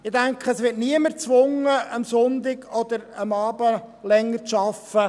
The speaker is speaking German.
Ich denke, es wird niemand gezwungen, am Sonntag oder am Abend länger zu arbeiten.